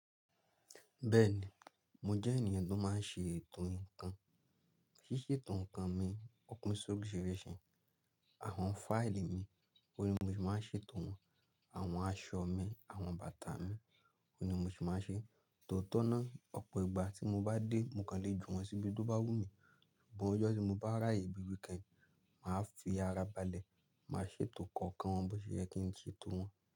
Bẹ́ẹ̀ni, mo jẹ́ ènìyàn tó máa ń ṣe ètò ǹkan. Ṣíṣe ètò ǹkan mi, ọ̀pin soriṣirisi Àwọn fáìlì mi, òní bi mo se máa ń ṣètò wọ́n. Àwọn aṣọ mi, àwọn bàtà mi, òní bi mo se máa ń ṣe. Tòótọ́ náà, ọ̀pọ̀ ìgbà tí mo bá dé, mo kàn le ju wọ́n síbi tó bá wù mí. Ìgbà ọjọ́ tí mo bá ráàyè bí weekend, màá fi ara balẹ̀, màá ṣètò kookan wọn bó ṣe yẹ kí n ṣètò wọ́n.